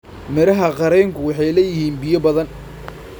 Midhaha qareenku waxay leeyihiin biyo badan.